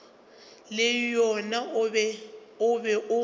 le wona o be o